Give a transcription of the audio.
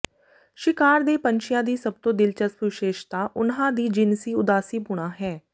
ਸ਼ਿਕਾਰ ਦੇ ਪੰਛੀਆਂ ਦੀ ਸਭ ਤੋਂ ਦਿਲਚਸਪ ਵਿਸ਼ੇਸ਼ਤਾ ਉਨ੍ਹਾਂ ਦੀ ਜਿਨਸੀ ਉਦਾਸੀਪੁਣਾ ਹੈ